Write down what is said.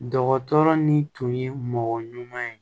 Dɔgɔtɔrɔ ni tun ye mɔgɔ ɲuman ye